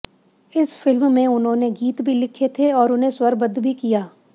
इस फ़िल्म में उन्होंने गीत भी लिखे थे और उन्हें स्वरबद्ध भी किया